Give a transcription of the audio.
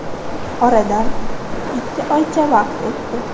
Oradan ikki oycha vaqt o‘tdi.